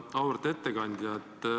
Auväärt ettekandja!